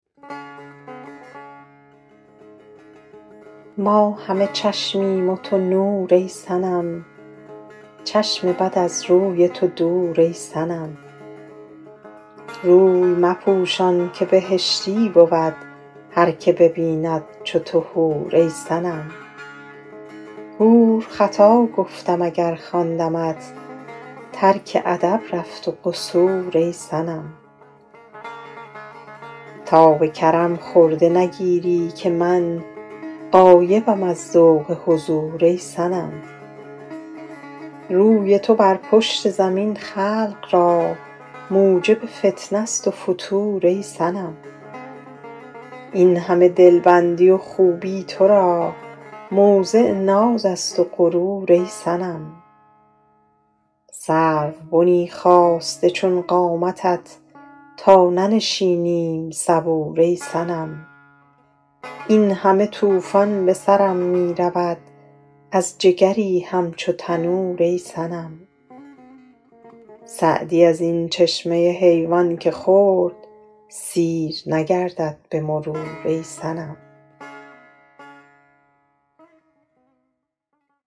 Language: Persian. ما همه چشمیم و تو نور ای صنم چشم بد از روی تو دور ای صنم روی مپوشان که بهشتی بود هر که ببیند چو تو حور ای صنم حور خطا گفتم اگر خواندمت ترک ادب رفت و قصور ای صنم تا به کرم خرده نگیری که من غایبم از ذوق حضور ای صنم روی تو بر پشت زمین خلق را موجب فتنه ست و فتور ای صنم این همه دلبندی و خوبی تو را موضع ناز است و غرور ای صنم سروبنی خاسته چون قامتت تا ننشینیم صبور ای صنم این همه طوفان به سرم می رود از جگری همچو تنور ای صنم سعدی از این چشمه حیوان که خورد سیر نگردد به مرور ای صنم